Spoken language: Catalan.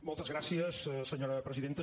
moltes gràcies senyora presidenta